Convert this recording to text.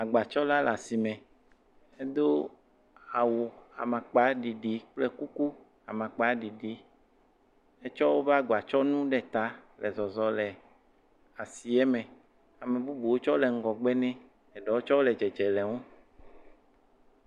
Agbatsɔla le asime edo kuku amakpaɖiɖi etsɔ woƒe agbatsɔnu ɖe ta le zɔe le asie me, ame bubuwo tse le ŋgɔ gbe ne eɖewo tse le dzedze le eŋu.